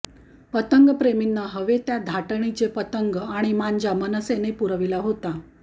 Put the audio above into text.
पतंगप्रेमींना हवे त्या धाटणीचे पतंग आणि मांजा मनसेने पुरविला होता